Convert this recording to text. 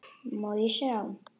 Má ég sjá?